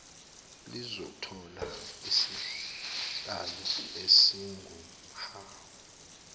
lizothola izihlalo ezinguhhafu